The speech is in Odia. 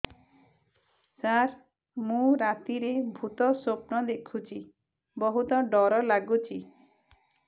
ସାର ମୁ ରାତିରେ ଭୁତ ସ୍ୱପ୍ନ ଦେଖୁଚି ବହୁତ ଡର ଲାଗୁଚି